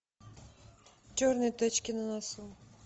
черные точки на носу